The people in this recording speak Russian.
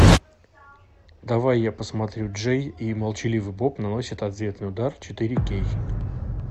давай я посмотрю джей и молчаливый боб наносят ответный удар четыре кей